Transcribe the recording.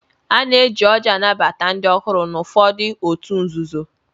Ana-eji ọ́jị́ anabata ndị ọhụrụ n'ụfọdụ òtù nzuzo.